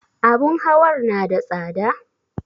Abun hawar na da tsada?